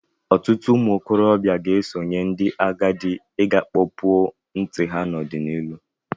Ọtụtụ ụmụ okorobịa ga-esonyere ndị agadi iga kpọpụo ntị ha n'ọdịnịhụ.